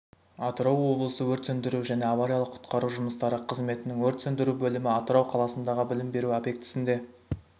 атырау облысы өрт сөндіру және авариялық-құтқару жұмыстары қызметінің өрт сөндіру бөлімі атырау қаласындағы білім беру объектісінде